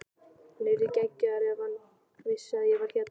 Hann yrði geggjaður ef hann vissi að ég var hérna.